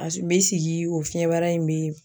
A su be sigi o fiɲɛbara in be yen